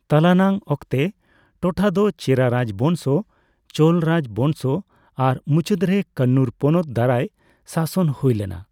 ᱛᱟᱞᱟ ᱱᱟᱝ ᱚᱠᱛᱮ, ᱴᱚᱴᱷᱟ ᱫᱚ ᱪᱮᱨᱟ ᱨᱟᱡᱽ ᱵᱚᱝᱥᱚ, ᱪᱳᱞ ᱨᱟᱡᱽᱵᱚᱝᱥᱚ ᱟᱨ ᱢᱩᱪᱟᱹᱫ ᱨᱮ ᱠᱟᱱᱱᱩᱨ ᱯᱚᱱᱚᱛ ᱫᱟᱨᱟᱭ ᱥᱟᱥᱚᱱ ᱦᱳᱭ ᱞᱮᱱᱟ ᱾